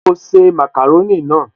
Ṣe o se màkàrónì náà?